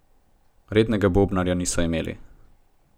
Rednega bobnarja niso imeli.